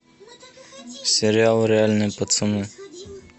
сериал реальные пацаны